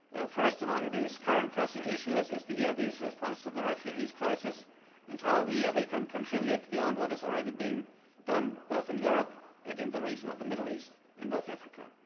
Union. First among these current pressing issues is the EIB's response to the refugee crisis and how the EIB can contribute beyond what is already being done both in Europe and in the region of the Middle East and North Africa.